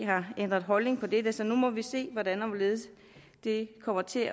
har ændret holdning til dette og så må vi se hvordan og hvorledes det kommer til at